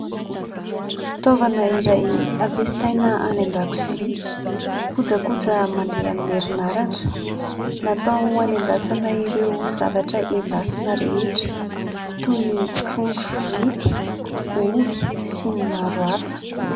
Fitaovana iray hampiasaina any an-dakozia, kojakoja mandeha amin'ny herinaratra ! Natao hanendasana ireo zavatra endasina rehetra toy ny trondro frity, ovy sy ny maro hafa.